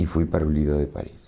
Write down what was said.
E fui para o Lido de Paris.